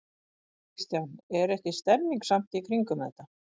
Kristján: Er ekki stemning samt í kringum þetta?